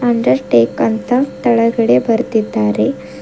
Under take ಅಂತ ತೆಳಗಡೆ ಬರ್ದಿದ್ದಾರೆ.